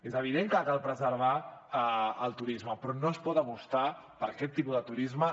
és evident que cal preservar el turisme però no es pot apostar per aquest tipus de turisme